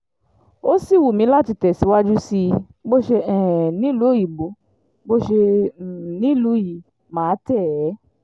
ó sì wù mí láti tẹ̀síwájú sí i bó ṣe um nílùú òyìnbó bó ṣe um nílùú yìí mà á tẹ̀ é